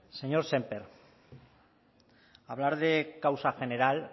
señor sémper hablar de causa general